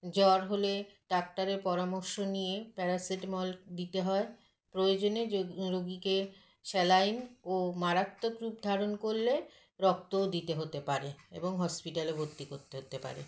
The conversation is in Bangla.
জ্বর হলে doctor - এর পরামর্শ নিয়ে paracetamol দিতে হয় প্রয়োজনে যদ রোগীকে saline ও মারাত্মক রূপ ধারণ করলে রক্তও দিতে হতে পারে এবং hospital -এ ভর্তি করতে হতে পারে